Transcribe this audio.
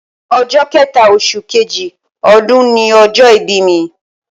Ọjọ́ kẹẹ̀ta oṣù kejì ọdún ni ọjọ́ ìbí mi